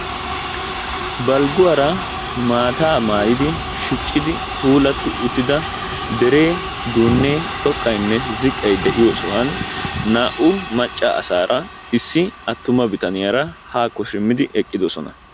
Balgguwaara maataa maayidi keehippe shicci uttida deree duunnee xoqqayinne ziqqay de'iyoo sohuwaan naa"u macca asaara issi attuma bitaniyaara haakko simmidi eqqidoosona.